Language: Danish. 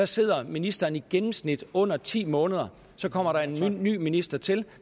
sidder ministeren i gennemsnit under ti måneder og så kommer der en ny minister til